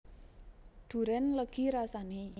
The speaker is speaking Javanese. Durén legi rasane